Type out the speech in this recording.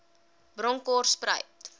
bronkhortspruit